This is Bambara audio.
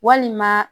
Walima